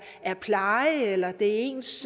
pleje eller det er ens